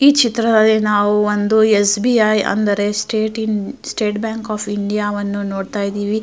ಈ ಚಿತ್ರದಲ್ಲಿ ನಾವು ಒಂದು ಎಸ್.ಬಿ.ಐ ಅಂದರೆ ಸ್ಟೇಟ್ ಬ್ಯಾಂಕ್ ಆಫ್ ಇಂಡಿಯಾ ವನ್ನು ನೋಡುತ ಇದ್ದಿವಿ.